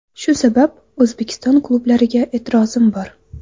Shu sabab O‘zbekiston klublariga e’tirozim bor.